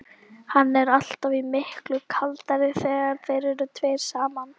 Hann er alltaf miklu kaldari þegar þeir eru tveir saman.